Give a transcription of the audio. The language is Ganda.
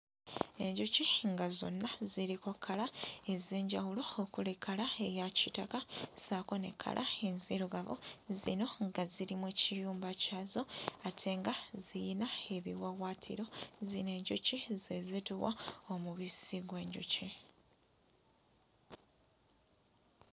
Enjuki nga zonna ziriko kkala ez'enjawulo okuli kkala eya kitaka ssaako ne kkala enzirugavu, zino nga ziri mu kiyumba zaakyo ate nga ziyina ebiwawaatiro. Zino enjuki ze zituwa omubisi gw'enjuki.